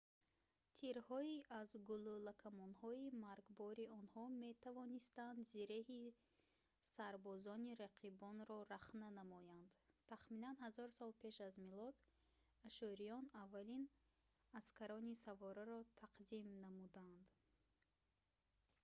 тирҳои аз гулӯлакамонҳои маргбори онҳо метавонистанд зиреҳи сарбозони рақибонро рахна намоянд тахминан 1000 сол пеш аз милод ашшуриён аввалин аскарони савораро тақдим намуданд